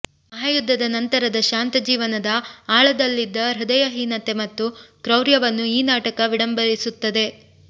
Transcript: ಮಹಾ ಯುದ್ಧದ ನಂತರದ ಶಾಂತ ಜೀವನದ ಆಳದಲ್ಲಿದ್ದ ಹೃದಯಹೀನತೆ ಮತ್ತು ಕ್ರೌರ್ಯವನ್ನು ಈ ನಾಟಕ ವಿಡಂಬಿಸುತ್ತದೆ